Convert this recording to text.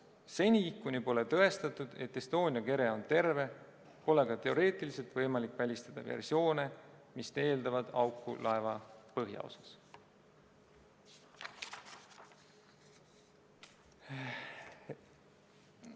Seni, kuni pole tõestatud, et Estonia kere on terve, pole ka teoreetiliselt võimalik välistada versioone, mis eeldavad auku laeva põhjaosas.